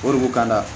O de b'u kan la